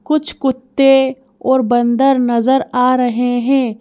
कुछ कुत्ते और बंदर नजर आ रहे हैं।